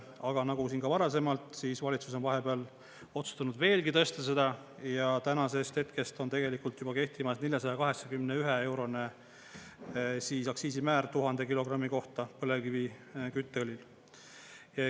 Aga nagu siin ka varasemalt valitsus on vahepeal otsustanud veelgi tõsta seda ja tänasest hetkest on tegelikult juba kehtimas 481-eurone aktsiisimäär 1000 kilogrammi kohta põlevkivikütteõlile.